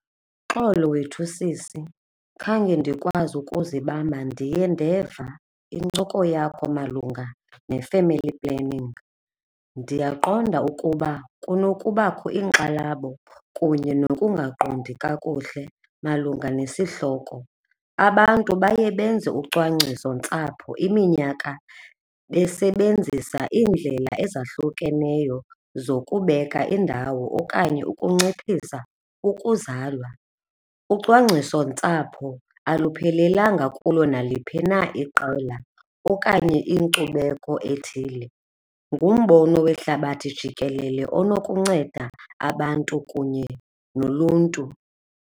Uxolo wethu, sisi, khange ndikwazi ukuzibamba, ndiye ndeva iincoko yakho malunga ne-family planning. Ndiyaqonda ukuba kunokubakho iinkxalabo kunye nokungaqondi kakuhle malunga nesihloko. Abantu baye benze ucwangcisontsapho iminyaka besebenzisa iindlela ezahlukeneyo zokubeka indawo okanye ukunciphisa ukuzalwa. Ucwangcisontsapho aluphelelanga kulo naliphi na iqela okanye inkcubeko ethile, ngumbono wehlabathi jikelele onokunceda abantu kunye noluntu.